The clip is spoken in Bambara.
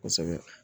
Kosɛbɛ